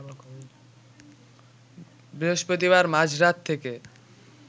বৃহস্পতিবার মাঝরাত থেকে